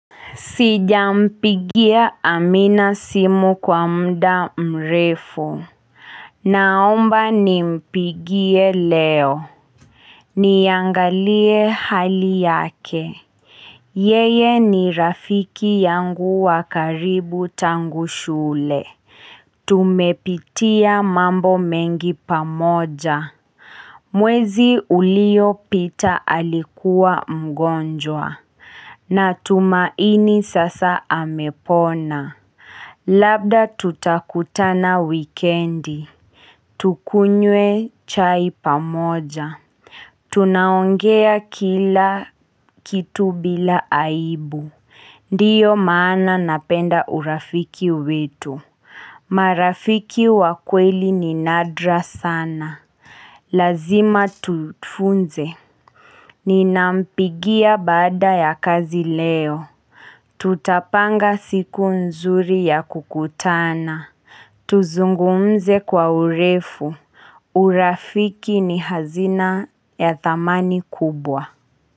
Sijampigia Amina simu kwa muda mrefu. Naomba nimpigie leo. Niangalie hali yake. Yeye ni rafiki yangu wa karibu tangu shule. Tumepitia mambo mengi pamoja. Mwezi uliopita alikuwa mgonjwa. Natumaini sasa amepona. Labda tutakutana wikendi, tukunywe chai pamoja. Tunaongea kila kitu bila aibu Ndiyo maana napenda urafiki wetu marafiki wa kweli ni nadra sana. Lazima tufunze. Ninampigia baada ya kazi leo. Tutapanga siku nzuri ya kukutana Tuzungumze kwa urefu. Urafiki ni hazina ya thamani kubwa.